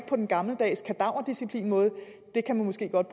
på den gammeldags kadaverdisciplinmåde kan man måske godt